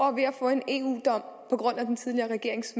og en eu dom på grund af den tidligere regerings